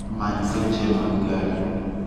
Many seche mag gari